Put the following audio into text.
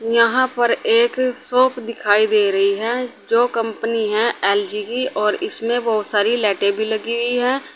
यहाँ पर एक शॉप दिखाई दे रही है जो कंपनी है एल_जी की और इसमें बहुत सारी लाइटें भी लगी हुई है।